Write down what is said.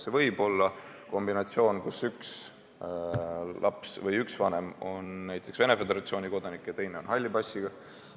See võib olla kombinatsioon, kus üks vanem on näiteks Venemaa Föderatsiooni kodanik ja teine on halli passiga.